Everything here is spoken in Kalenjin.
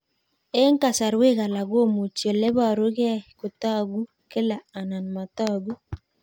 Eng' kasarwek alak komuchi ole parukei kotag'u kila anan matag'u